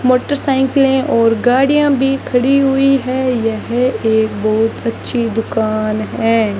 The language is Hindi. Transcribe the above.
मोटरसाइकिलें और गाड़ियां भी खड़ी हुई है यह एक बहोत अच्छी दुकान है।